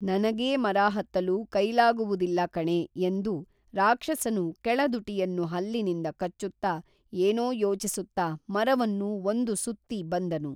ನನಗೇ ಮರಹತ್ತಲು ಕೈಲಾಗುವುದಿಲ್ಲಕಣೇ ಎಂದು ರಾಕ್ಷಸನು ಕೇಳದುಟಿಯನ್ನು ಹಲ್ಲಿನಿಂದ ಕಚ್ಚುತ್ತಾ ಏನೋ ಯೋಚಿಸುತ್ತಾ ಮರವನ್ನು ಒಂದು ಸುತ್ತಿ ಬಂದನು